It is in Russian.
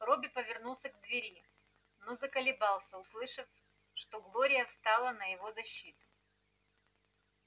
робби повернулся к двери но заколебался услышав что глория встала на его защиту